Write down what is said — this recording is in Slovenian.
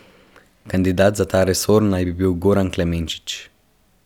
Kandidat za ta resor naj bi bil Goran Klemenčič.